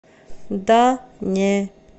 да не